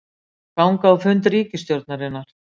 Ganga á fund ríkisstjórnarinnar